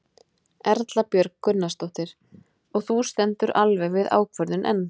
Erla Björg Gunnarsdóttir: Og þú stendur alveg við þá ákvörðun enn?